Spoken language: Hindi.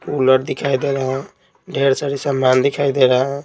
कूलर दिखाई दे रहा है ढेर सारी सामान दिखाई दे रहे हैं।